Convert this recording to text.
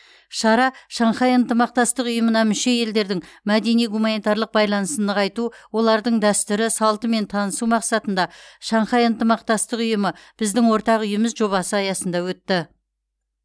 шара шанхай ынтымақтастық ұйымына мүше елдердің мәдени гуманитарлық байланысын нығайту олардың дәстүрі салтымен танысу мақсатында шанхай ынтымақтастық ұйымы біздің ортақ үйіміз жобасы аясында өтті